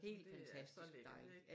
Helt fantastisk dejligt